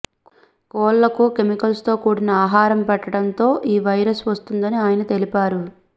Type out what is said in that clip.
కోళ్లకు కెమికల్స్తో కూడిన ఆహారం పెట్టడంతో ఈ వైరస్ వస్తుందని ఆయన తెలిపారు